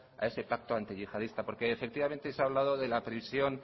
a ese pacto antiyihadista porque efectivamente se ha hablado de la prisión